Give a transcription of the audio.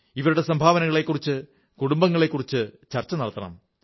ഇവരുടെ സംഭാവനകളെക്കുറിച്ച് കുടുബങ്ങളിൽ ചർച്ച നടത്തണം